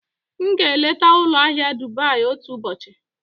M ga-eleta ụlọ ahịa Dubai otu ụbọchị.